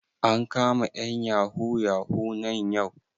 An kama ƴan yahoo yahoo nan yau?